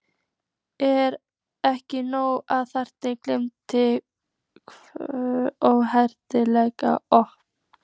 Er ekki nóg að þaðan glymji hroðaleg óp?